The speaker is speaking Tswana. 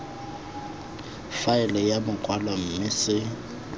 faele ya makwalo mme se